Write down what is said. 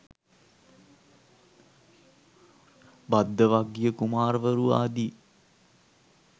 භද්දවග්ගිය කුමාරවරු ආදි